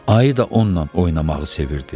Ayı da onunla oynamağı sevirdi.